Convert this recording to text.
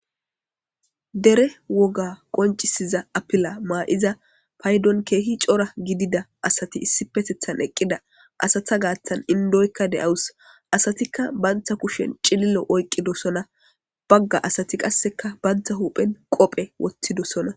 dere woga qoncisiza apila maa7iza paydon keehi cora gidida asati issi petethan eqqida asata gaattan indoykka de7awus asatikka banta kushen cilillo oyqqidosona bagga asati qasseka banta huphen qophe wottidossona